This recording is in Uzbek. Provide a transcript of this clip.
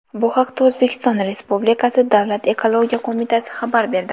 Bu haqda O‘zbekiston Respublikasi Davlat ekologiya qo‘mitasi xabar berdi.